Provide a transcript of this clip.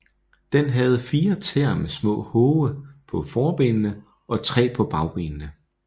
Den havde fire tæer med små hove på forbenene og tre på bagbenene